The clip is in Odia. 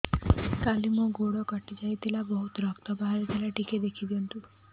କାଲି ମୋ ଗୋଡ଼ କଟି ଯାଇଥିଲା ବହୁତ ରକ୍ତ ବାହାରି ଥିଲା ଟିକେ ଦେଖି ଦିଅନ୍ତୁ